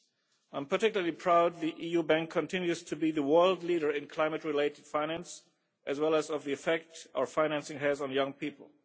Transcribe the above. I am particularly proud that the EU bank continues to be the world leader in climate related finance, as well as of the effect our financing has on young people.